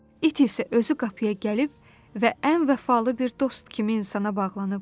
İt isə özü qapıya gəlib və ən vəfalı bir dost kimi insana bağlanıb.